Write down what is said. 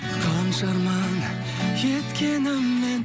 қанша арман кеткеніңмен